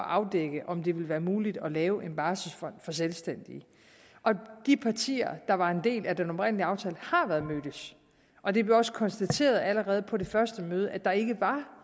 at afdække om det ville være muligt at lave en barselsfond for selvstændige og de partier der var en del af den oprindelige aftale og det blev også konstateret allerede på det første møde at der ikke var